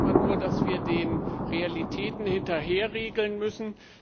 Schade ist immer nur, dass wir den Realitäten hinterherregeln müssen.